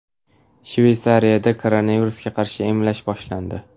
Shveysariyada koronavirusga qarshi emlash boshlandi.